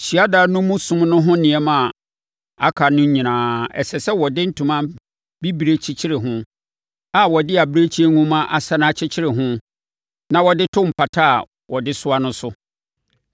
“Hyiadan no mu som no ho nneɛma a aka no nyinaa, ɛsɛ sɛ wɔde ntoma bibire kyekyere ho a wɔde abirekyie nhoma asane akyekyere ho na wɔde to mpata a wɔde soa no so.